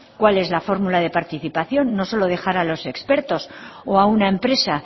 cuál es la fórmula de participación no solo dejar a los expertos o a una empresa